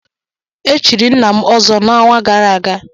Echiri nna m Ọzọ n'ọnwa gara aga